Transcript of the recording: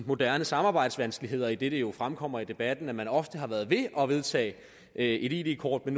moderne samarbejdsvanskeligheder idet det jo fremkommer i debatten at man ofte har været ved at vedtage et id kort